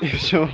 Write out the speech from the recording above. и всё